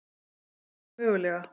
Allt er þó mögulega